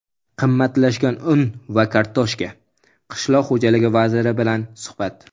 qimmatlashgan un va kartoshka - Qishloq xo‘jaligi vaziri bilan suhbat.